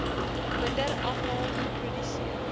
minder afval geproduseer